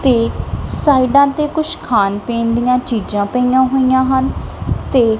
ਤੇ ਸਾਈਡਾਂ ਤੇ ਕੁਝ ਖਾਣ ਪੀਣ ਦੀਆਂ ਚੀਜ਼ਾਂ ਪਈਆਂ ਹੋਈਆਂ ਹਨ ਤੇ--